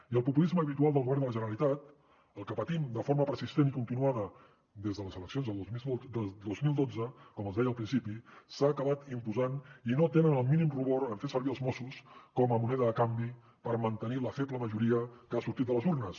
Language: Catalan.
i el populisme habitual del govern de la generalitat el que patim de forma persistent i continuada des de les eleccions del dos mil dotze com els deia al principi s’ha acabat imposant i no tenen el mínim rubor en fer servir els mossos com a moneda de canvi per mantenir la feble majoria que ha sortit de les urnes